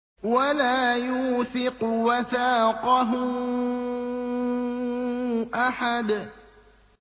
وَلَا يُوثِقُ وَثَاقَهُ أَحَدٌ